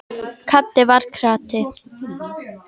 Haddi var krati.